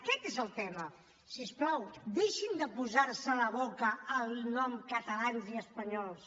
aquest és el tema si us plau deixin de posarse a la boca el nom catalans i espanyols